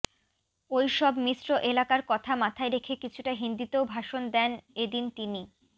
ওই সব মিশ্র এলাকার কথা মাথায় রেখে কিছুটা হিন্দিতেও ভাষণ দেন এদিন তিনি